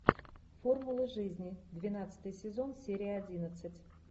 формула жизни двенадцатый сезон серия одиннадцать